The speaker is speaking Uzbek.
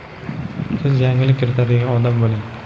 siz yangilik kiritadigan odam bo‘ling.